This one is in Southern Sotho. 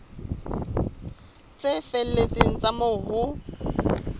tse felletseng tsa moo ho